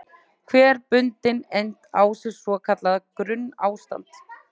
Hver bundin eind á sér svo kallað grunnástand.